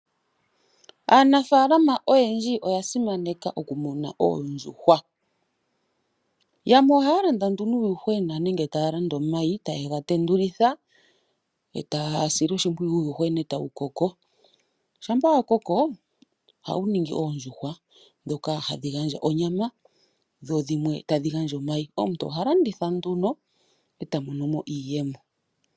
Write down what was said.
Aanafaalama oyendji oyasimaneka okumuna oondjuhwa, yamwe ohaalanda nduno uuyuhwena nenge taalanda omayi tayegatendulitha etaasile oshimpwiyu uuyuhwena etawukoko. Shampa wa kokoo ohawuningi oondjuhwa dhoka hadhi gandja onyama dhodhimwe tadhigandja omayi. Omuntu ohalanditha nduno etamonomo iiyemo.